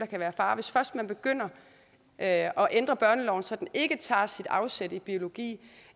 kan være far hvis først man begynder at at ændre børneloven så den ikke tager sit afsæt i biologi